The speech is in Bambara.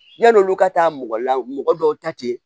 Yan'olu ka taa mɔgɔ la mɔgɔ dɔw ta te